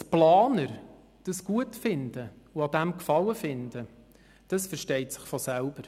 Dass die Planer dies gut finden und Gefallen daran haben, versteht sich von selbst.